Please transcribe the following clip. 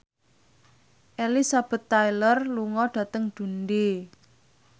Elizabeth Taylor lunga dhateng Dundee